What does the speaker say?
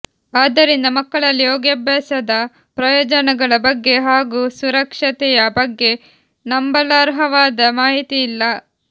ಆದ್ದರಿಂದ ಮಕ್ಕಳಲ್ಲಿ ಯೋಗಾಭ್ಯಾಸದ ಪ್ರಯೋಜನಗಳ ಬಗ್ಗೆ ಹಾಗೂ ಸುರಕ್ಷತೆಯ ಬಗ್ಗೆ ನಂಬಲರ್ಹವಾದ ಮಾಹಿತಿಯಿಲ್ಲ